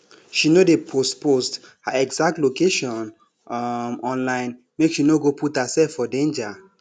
she no dey post post her exact location um online make she no go put herself for danger